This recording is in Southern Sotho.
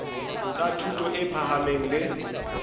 tsa thuto e phahameng le